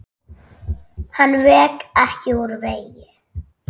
Hann vék ekki úr vegi.